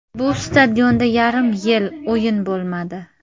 Bu stadionda yarim yil o‘yin bo‘lmadi.